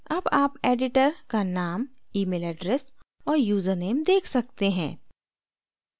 अब आप editor का name email address और यूज़रनेम देख सकते हैं